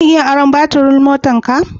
Zan iya aron baturin motarka?